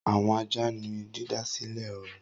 Awọn aja ni didasilẹ õrùn.